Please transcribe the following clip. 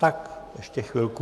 Tak ještě chvilku.